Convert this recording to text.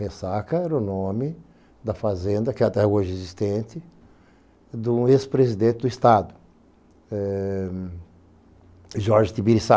Ressaca era o nome da fazenda, que até hoje é existente, de um ex presidente do estado, eh... Jorge Tibiriçá.